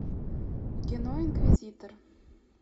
кино инквизитор